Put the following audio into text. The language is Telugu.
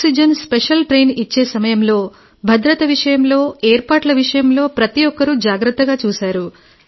ఆక్సిజన్ స్పెషల్ ఇచ్చే సమయంలో భద్రత విషయంలో ఏర్పాట్ల విషయంలో ప్రతి ఒక్కరూ జాగ్రత్తగా చూశారు